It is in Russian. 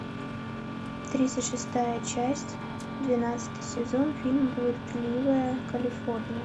тридцать шестая часть двенадцатый сезон фильм блудливая калифорния